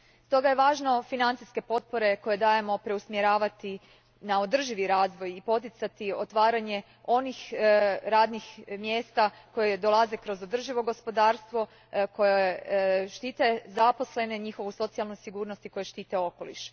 Stoga je važno financijske potpore koje dajemo preusmjeravati na održivi razvoj i poticati otvaranje onih radnih mjesta koja dolaze kroz održivo gospodarstvo, koja štite zaposlene i njihovu socijalnu sigurnost i koja štite okoliš.